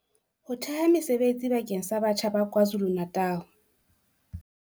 Ho thea mesebetsi bakeng sa batjha ba KwaZulu-Natal